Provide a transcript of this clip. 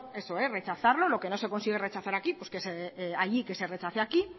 eso rechazarlo lo que no se consigue rechazar allí que se rechace aquí